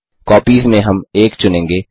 copies में हम 1 चुनेंगे